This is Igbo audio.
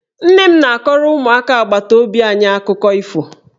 Nne m na-akọrọ ụmụaka agbataobi anyị akụkọ ifo.